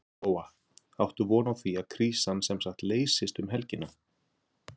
Lóa: Áttu von á því að krísan semsagt leysist um helgina?